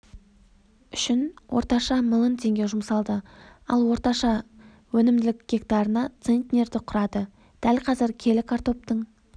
үшін орташа миллион теңге жұмсалды ал орташа өнімділік гектарына центнерді құрады дәл қазір келі картоптың